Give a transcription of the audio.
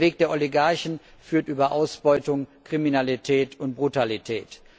Der Weg der Oligarchen führt in Ausbeutung, Kriminalität und Brutalität.